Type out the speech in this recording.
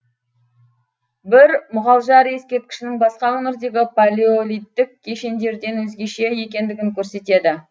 бір мұғалжар ескерткішінің басқа өңірдегі палеолиттік кешендерден өзгеше екендігін көрсетеді